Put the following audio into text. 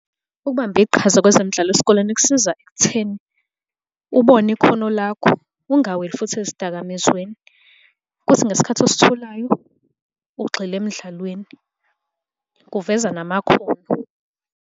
Ukubamba iqhaza kwezemidlalo esikoleni kusiza ekutheni ubone ikhono lakho, ungaweli futhi ezidakamizweni, kuthi ngesikhathi ositholayo ugxile emdlalweni. Kuveza namakhono.